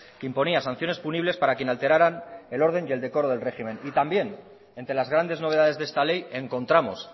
que imponía sanciones punibles para quien alteraran el orden y el decoro del régimen y también entre las grandes novedades de esta ley encontramos